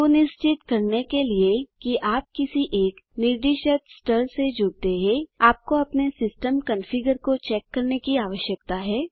सुनिश्चित करने के लिए कि आप किसी एक निर्दिष्ट स्तर से जुड़ते हैं आपको अपने सिस्टम कंफिगर को चेक करने की आवश्यकता है